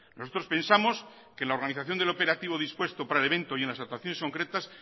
nosotros pensamos que la organización del operativo dispuesto para el evento y en las actuaciones concretas